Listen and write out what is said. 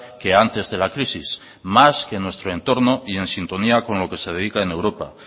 que antes de la crisis más que en nuestro entorno y en sintonía con lo que se dedica en europa